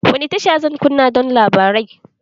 Wani tashar zan kunna don labarai?